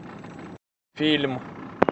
фильм